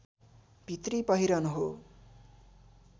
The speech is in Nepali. भित्री पहिरन हो